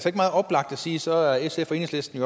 sige at så er sf og enhedslisten